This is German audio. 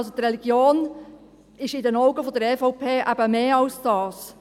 Die Religion ist in den Augen der EVP mehr als das.